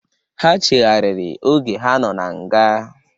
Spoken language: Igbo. Ha cheghariri oge ha nọ na nga.